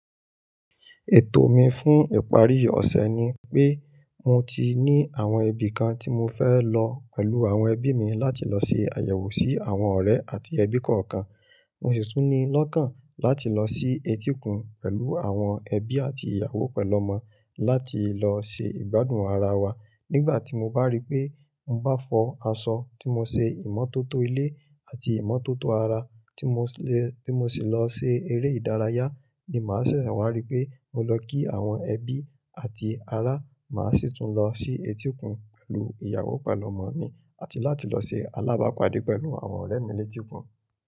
Ètò mi fún ìparí ọ̀sẹ̀ ni pé mo ti ní àwọn ibì kan tí mo fẹ́ lọ pẹ̀lú àwọn ẹbí mi láti lọ ṣe àyẹ̀wò sí àwọn ọ̀rẹ́ àti ẹbí kọ̀ọ̀kan. Mo sì tún ní lọ́kàn láti lọ sí etíkun pẹ̀lú àwọn ẹbí àti ìyàwó pẹ̀lọ́mọ láti lọ ṣe ìgbádùn ara wa. Nígbà tí mo bá rí pé mo bá fọ aṣọ tí mo ṣe ìmọ́tótó ilé àti ìmọ́tótó ara tí mo sì lọ ṣe eré ìdárayá ni màá sì wá rí pé mo lọ kí àwọn ẹbí àti ará, màá sì tún lọ sí etíkun pẹ̀lú ìyàwó pẹ̀lọ́mọ mi àti láti lọ ṣe alábàápadé pẹ̀lú àwọn ọ̀rẹ́ mi létíkun.